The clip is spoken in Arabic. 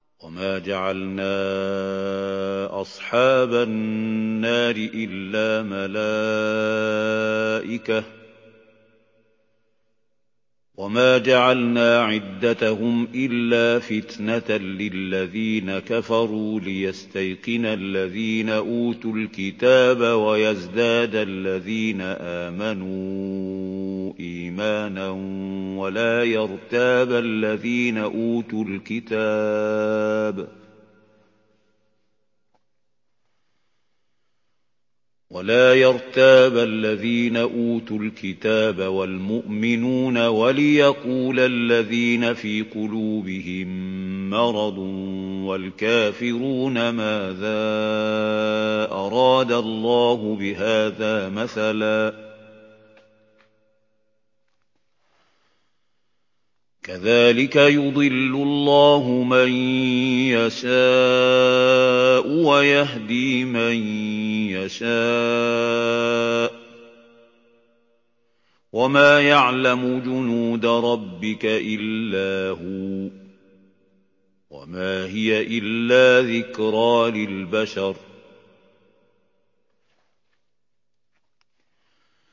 وَمَا جَعَلْنَا أَصْحَابَ النَّارِ إِلَّا مَلَائِكَةً ۙ وَمَا جَعَلْنَا عِدَّتَهُمْ إِلَّا فِتْنَةً لِّلَّذِينَ كَفَرُوا لِيَسْتَيْقِنَ الَّذِينَ أُوتُوا الْكِتَابَ وَيَزْدَادَ الَّذِينَ آمَنُوا إِيمَانًا ۙ وَلَا يَرْتَابَ الَّذِينَ أُوتُوا الْكِتَابَ وَالْمُؤْمِنُونَ ۙ وَلِيَقُولَ الَّذِينَ فِي قُلُوبِهِم مَّرَضٌ وَالْكَافِرُونَ مَاذَا أَرَادَ اللَّهُ بِهَٰذَا مَثَلًا ۚ كَذَٰلِكَ يُضِلُّ اللَّهُ مَن يَشَاءُ وَيَهْدِي مَن يَشَاءُ ۚ وَمَا يَعْلَمُ جُنُودَ رَبِّكَ إِلَّا هُوَ ۚ وَمَا هِيَ إِلَّا ذِكْرَىٰ لِلْبَشَرِ